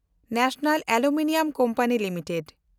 ᱡᱟᱹᱛᱤᱭᱟᱹᱨᱤ aluminium company limited